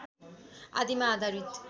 आदिमा आधारित